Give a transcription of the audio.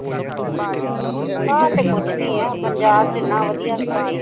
ਬਾਹਰ ਤੇ ਕੁੱਝ ਨੀ ਆ ਪੰਜਾਬ ਚ ਇਨਾਂ ਵੱਧੀਆ ਸਾਡੇ